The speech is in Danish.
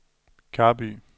Karby